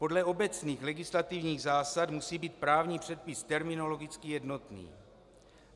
Podle obecných legislativních zásad musí být právní předpis terminologicky jednotný.